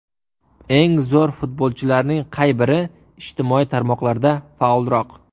Eng zo‘r futbolchilarning qay biri ijtimoiy tarmoqlarda faolroq?